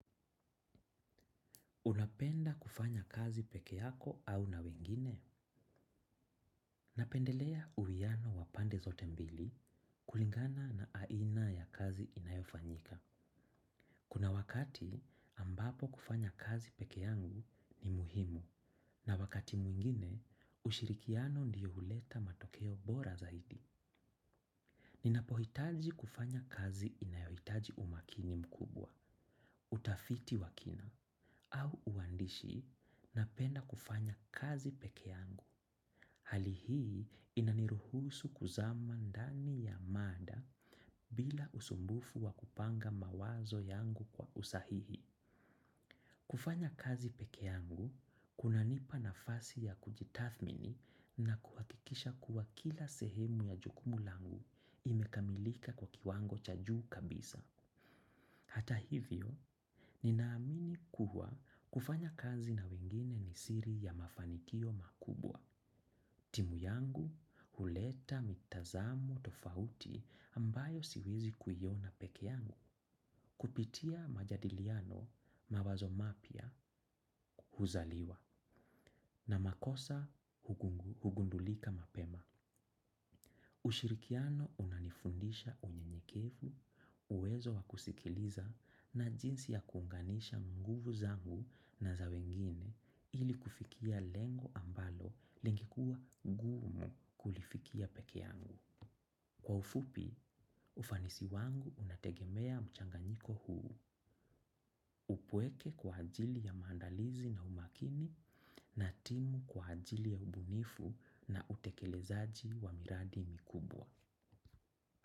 Unapenda kufanya kazi peke yako au na wengine? Napendelea uwiano wa pande zote mbili kulingana na aina ya kazi inayofanyika. Kuna wakati ambapo kufanya kazi peke yangu ni muhimu na wakati mwingine ushirikiano ndiyo huleta matokeo bora zaidi. Ninapohitaji kufanya kazi inayohitaji umakini mkubwa, utafiti wa kina. Au uwandishi, napenda kufanya kazi peke yangu. Hali hii inaniruhusu kuzama ndani ya mada bila usumbufu wa kupanga mawazo yangu kwa usahihi. Kufanya kazi peke yangu, kunanipa nafasi ya kujitathmini na kuhakikisha kuwa kila sehemu ya jukumu langu imekamilika kwa kiwango cha juu kabisa. Hata hivyo, ninaamini kuhua kufanya kazi na wengine ni siri ya mafanikio makubwa. Timu yangu, huleta, mitazamo, tofauti ambayo siwezi kuiona peke yangu. Kupitia majadiliano mawazo mapya huzaliwa na makosa hugundulika mapema ushirikiano unanifundisha unyenyekevu uwezo wa kusikiliza na jinsi ya kuunganisha nguvu zangu na za wengine ili kufikia lengo ambalo lingekuwa ngumu kulifikia peke yangu. Kwa ufupi, ufanisi wangu unategemea mchanganyiko huu, upweke kwa ajili ya maandalizi na umakini na timu kwa ajili ya ubunifu na utekelezaji wa miradi mikubwa.